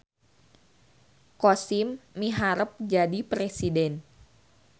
Kosim miharep jadi presiden